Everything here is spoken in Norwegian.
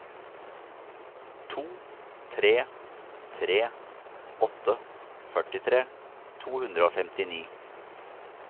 to tre tre åtte førtitre to hundre og femtini